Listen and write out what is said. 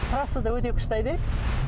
трассада өте күшті айдаймын